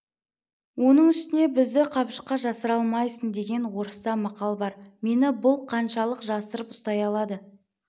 оның үстіне бізді қапшыққа жасыра алмайсың деген орыста мақал бар мені бұл қаншалық жасырып ұстай алады